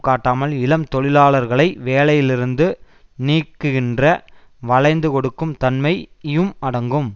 காட்டாமல் இளம் தொழிலாளர்களை வேலையிலிருந்து நீக்குகின்ற வளைந்து கொடுக்கும் தன்மையும் அடங்கும்